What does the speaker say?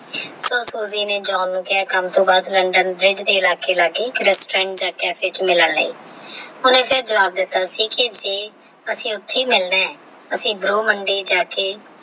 ਤਾ ਨੇ john ਨੂੰ ਕਹਿਆ ਕੰਮ ਤੋਂ ਬਾਅਦ LandonBrigde ਦੇ ਰਾਖੀ ਇੱਕ caff ਦੇ caff ਵਿੱਚ ਮਿਲਣ ਲਈ ਹੁਣ ਅਸੀਂ ਜਵਾਬ ਦੇ ਦਿੱਤਾ ਸੀ ਜੇ ਅਸੀਂ ਉੱਥੇ ਹੀ ਮਿਲਣਾ ਹੈ ਅਸੀਂ ਬਰੋ ਮੰਡੀ ਜਾ ਕੇ।